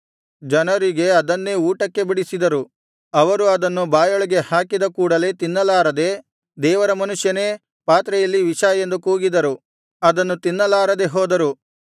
ಜನರಿಗೆ ಅದನ್ನೇ ಊಟಕ್ಕೆ ಬಡಿಸಿದರು ಅವರು ಅದನ್ನು ಬಾಯೊಳಗೆ ಹಾಕಿದ ಕೂಡಲೆ ತಿನ್ನಲಾರದೆ ದೇವರ ಮನುಷ್ಯನೇ ಪಾತ್ರೆಯಲ್ಲಿ ವಿಷ ಎಂದು ಕೂಗಿದರು ಅದನ್ನು ತಿನ್ನಲಾರದೆ ಹೋದರು